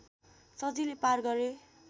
सजिलै पार गरे